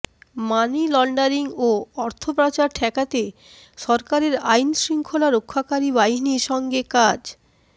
money laundering ও অর্থপাচার ঠেকাতে সরকারের আইনশৃঙ্খলা রক্ষাকারী বাহিনীর সঙ্গে কাজ